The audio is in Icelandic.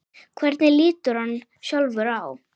Hvernig lítur hann sjálfur á?